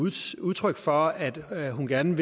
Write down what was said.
udtryk for at hun gerne